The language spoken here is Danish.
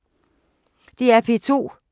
DR P2